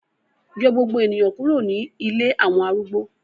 Yọ gbogbo eniyan kuro ni ilé awọn arúgbó